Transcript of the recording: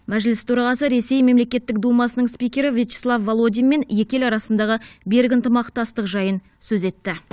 мәжіліс төрағасы ресей мемлекеттік думасының спикері вячеслав володинмен екі ел арасындағы берік ынтымақтастық жайын сөз етті